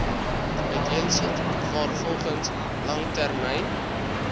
uiteensit waarvolgens langtermyn